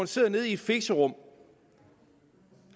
sidder i et fixerum